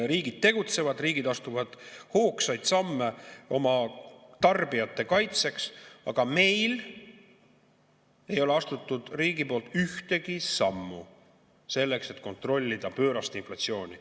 Riigid tegutsevad, riigid astuvad hoogsaid samme oma tarbijate kaitseks, aga meil ei ole riik astunud ühtegi sammu selleks, et kontrollida pöörast inflatsiooni.